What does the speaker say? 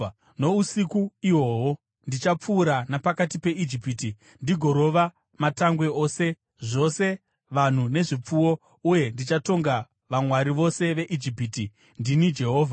“Nousiku ihwohwo ndichapfuura napakati peIjipiti ndigorova matangwe ose, zvose vanhu nezvipfuwo, uye ndichatonga vamwari vose veIjipiti. Ndini Jehovha.